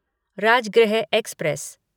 Rajgriha express